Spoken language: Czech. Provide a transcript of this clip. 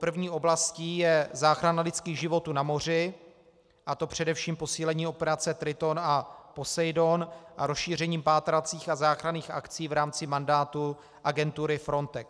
První oblastí je záchrana lidských životů na moři, a to především posílením operace Triton a Poseidon a rozšířením pátracích a záchranných akcí v rámci mandátu agentury Frontex.